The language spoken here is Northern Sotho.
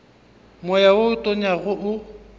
moya wo o tonyago o